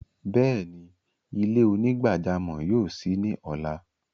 Bẹẹni, ilẹ̀-onígbàjàmọ́ yóò ṣí ni ọla.